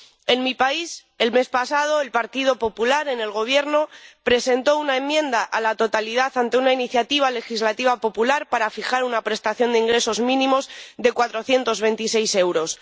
En mi país, el mes pasado, el Partido Popular en el Gobierno presentó una enmienda a la totalidad ante una iniciativa legislativa popular para fijar una prestación de ingresos mínimos de 426 euros.